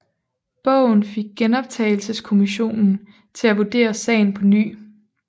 Bogen fik Genoptagelseskommissionen til at vurdere sagen på ny